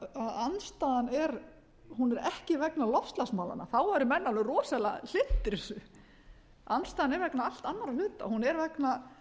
andstaðan er hún er ekki vegna loftslagsmálanna þá eru menn alveg rosalega hlynntir þessu andstaðan er vegnaallt annarra hluta hún er vegna